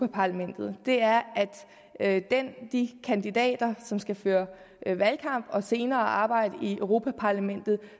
parlamentet er at de kandidater som skal føre valgkamp og senere arbejde i europa parlamentet